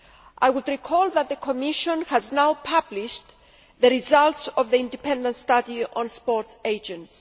I would recall that the Commission has now published the results of the independent study on sports agents.